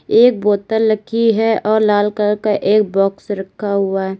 एक बोतल लकी है और लाल कलर का एक बॉक्स रखा हुआ है।